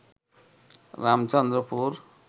Ramchandrapur